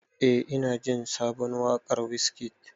Eh na ji sabon waƙar Wizkid.